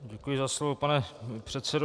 Děkuji za slovo, pane předsedo.